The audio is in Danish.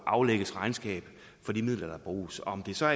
aflægges regnskab for de midler der bruges om det så